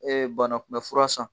banakunbɛfura san.